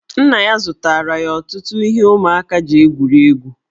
Nna ya zụtara ya ọtụtụ ihe ụmụaka ji egwuri egwu.